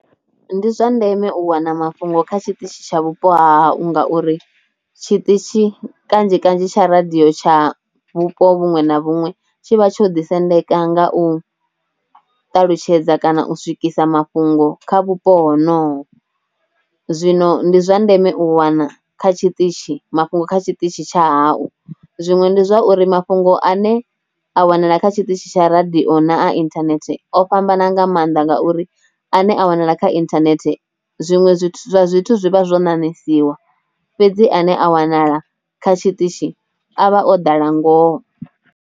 Ndi zwa ndeme u wana mafhungo kha tshiṱitshi tsha vhupo ha hau ngauri tshiṱitshi kanzhi kanzhi tsha radio tsha vhupo vhuṅwe na vhuṅwe tshivha tsho ḓi sendeka nga u ṱalutshedza kana u swikisa mafhungo kha vhupo ho noho, zwino ndi zwa ndeme u wana kha tshiṱitshi mafhungo kha tshiṱitshi tsha hau, zwiṅwe ndi zwa uri mafhungo ane a wanala kha tshiṱitshi tsha radio na a internet o fhambana nga mannḓa ngauri a ne a wanala kha internet zwinwe zwithu zwi vha zwo na nanisiwa fhedzi ane a wanala kha tshiṱitshi avha o ḓala ngoho.